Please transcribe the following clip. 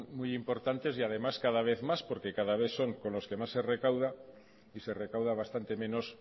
muy importantes y además cada vez más porque cada vez son con los que más se recauda y se recauda bastante menos